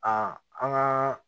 Aa an ka